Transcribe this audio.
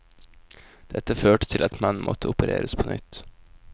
Dette førte til at mannen måtte opereres på nytt.